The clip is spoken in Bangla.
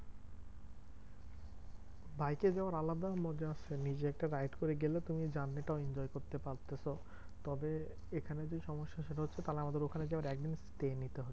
বাইকে যাওয়ার আলাদাই মজা আছে নিজে একটা guide করে গেলে তুমি journey টাও enjoy করতে পারতে। তো তবে এখানে যে সমস্যা, সেটা হচ্ছে তাহলে আমাদের ওখানে গিয়ে আবার একদিন stay নিতে হবে।